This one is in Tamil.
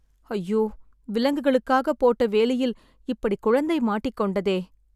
ஐயோ.. விலங்குகளுக்காக போட்ட வேலியில் இப்படி குழந்தை மாட்டிக்கொண்டதே